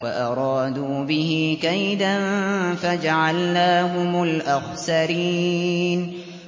وَأَرَادُوا بِهِ كَيْدًا فَجَعَلْنَاهُمُ الْأَخْسَرِينَ